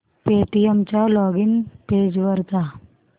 Paytm च्या login page वर जा